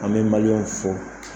An bɛ maliyɛn fo